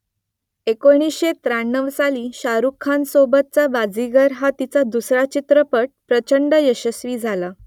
एकोणीसशे त्र्याण्णव साली शाहरूख खानसोबतचा बाजीगर हा तिचा दुसरा चित्रपट प्रचंड यशस्वी झाला